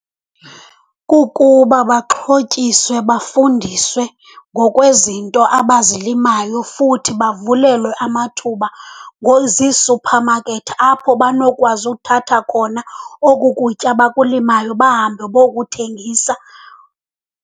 Kukuba baxhotyiswe, bafundiswe ngokwezinto abazilimayo futhi bavulelwe amathuba ziisuphamakethi apho banokwazi uthatha khona oku kutya bakulimayo bahambe bokuthengisa.